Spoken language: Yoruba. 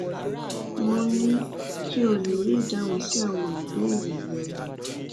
mo ní kí o lè rí ìdáhùn sí àwọn ìbéèrè rẹ